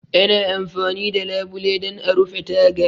Ana amfani da labule don a rufe taga.